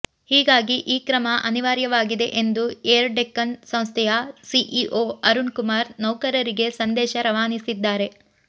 ಹೀಗಾಗಿ ಈ ಕ್ರಮ ಅನಿವಾರ್ಯವಾಗಿದೆ ಎಂದು ಏರ್ ಡೆಕ್ಕನ್ ಸಂಸ್ಥೆಯ ಸಿಇಒ ಅರುಣ್ ಕುಮಾರ್ ನೌಕರರಿಗೆ ಸಂದೇಶ ರವಾನಿಸಿದ್ದಾರೆ